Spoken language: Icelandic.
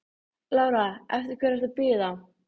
Lára: Eftir hverri ertu að bíða?